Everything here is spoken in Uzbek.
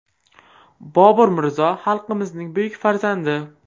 Bobur Mirzo xalqimizning buyuk farzandi.